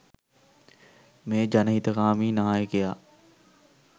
මේ ජනහිතකාමී නායකයා.